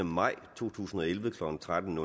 maj to tusind og elleve klokken tretten